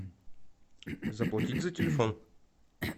заплатить за телефон